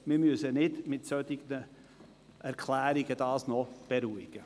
Dieses müssen wir nicht mit solchen Erklärungen beruhigen.